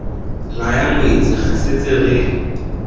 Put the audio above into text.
laya ngwetsi re setse re